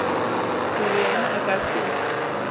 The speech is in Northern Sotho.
gore yena a ka se